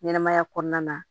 Ɲɛnɛmaya kɔnɔna na